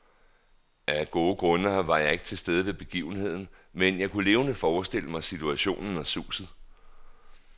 Af gode grunde var jeg ikke til stede ved begivenheden, men jeg kan levende forestille mig situationen og suset.